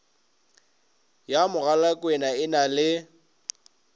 ya mogalakwena e na le